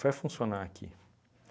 Vai funcionar aqui.